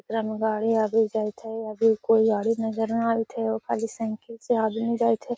एकरा में गाडी आवि जाईत हई | अभी कोई गाडी नज़र नै आवा थाई एगो खाली साइकिल से आदमी जाइत हई |